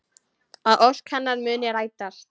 Að ósk hennar muni rætast.